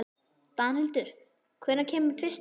Danhildur, hvenær kemur tvisturinn?